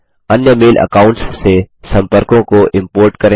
अन्य mail accounts से सम्पर्कों को इम्पोर्ट करें